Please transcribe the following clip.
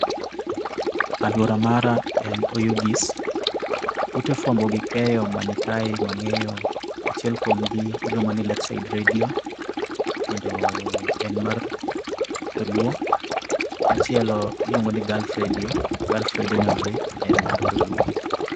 Alwora mara en oyugis, ute fuambo gi keyo manikaye mang'eyo, achiel kuomgi iluongo ni Lakeside redio, kendo en mar dholuo. Machielo iluongo ni Gulf redio, Gulf rediono be en mar dholuo